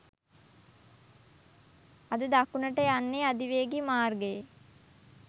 අද දකුණට යන්නේ අධිවේගී මාර්ගයේ